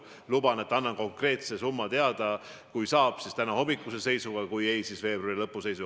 Ma luban, et annan konkreetse summa teada, kui saab, siis tänahommikuse seisuga, kui ei, siis veebruari lõpu seisuga.